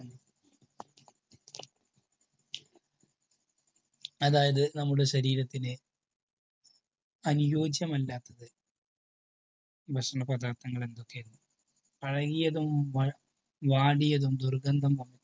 അതായതു നമ്മുടെ ശരീരത്തിന് അനിയോജ്യമല്ലാത്ത ഭക്ഷണ പദാർത്ഥങ്ങൾ എന്തൊക്കെ. പഴകിയതും വാടിയതും ദുർഗന്ധം വമിച്ചതും